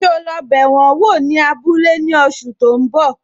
So lọ bẹ wọn wò ní abúlé ní oṣù tó ń bọ̀?